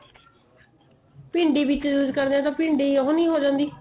ਭਿੰਡੀ ਵਿੱਚ use ਕਰਦੇ ਆ ਭਿੰਡੀ ਉਹ ਨੀ ਹੋ ਜਾਂਦੀ